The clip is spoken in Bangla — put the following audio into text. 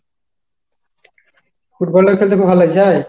ফুটবলটা খেলতে খুব ভালো লাগছে?